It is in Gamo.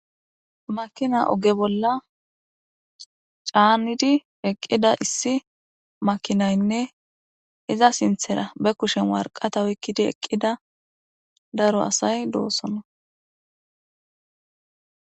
Makina oge bolla caannidi eqqida issi makinaynne iza sinthera be kushen warqata oykkidi eqqida daro asay doosona.